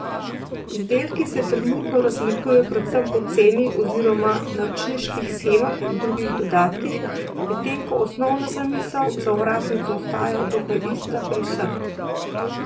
Izdelki se trenutno razlikujejo predvsem po ceni oziroma naročniških shemah in drugih dodatkih, medtem ko osnovna zamisel za ovratnico ostaja dokaj ista pri vseh.